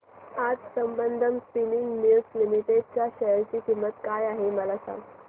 आज Sambandam spinning mills limited च्या share ची किंमत काय आहे हे सांगा